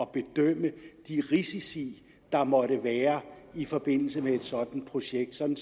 bedømme de risici der måtte være i forbindelse med et sådant projekt sådan